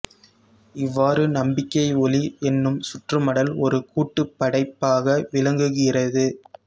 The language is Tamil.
இவ்வாறு நம்பிக்கை ஒளி என்னும் சுற்றுமடல் ஒரு கூட்டுப் படைப்பாக விளங்குகிறது